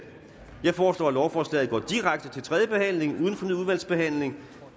jeg foreslår at lovforslaget går direkte til tredje behandling uden fornyet udvalgsbehandling